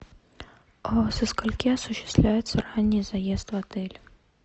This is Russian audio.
со скольки осуществляется ранний заезд в отель